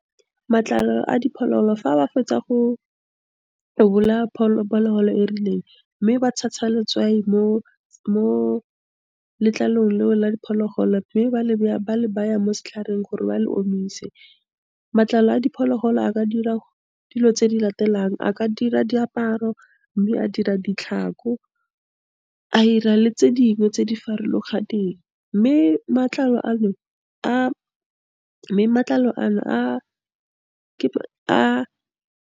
Matlalo a diphologolo, fa ba fetsa go bolaya phologolo e rileng, mme ba tshasa letswai mo letlalong leo la diphologolo, mme ba , le baya mo setlhareng gore ba le omise. Matlalo a diphologolo a ka dira dilo tse di latelang, a ka dira diaparo, mme a dira ditlhako, a 'ira le tse dingwe tse di farologaneng, mme matlalo a no, .